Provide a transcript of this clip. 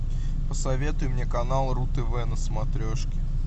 посоветуй мне канал ру тв на смотрешке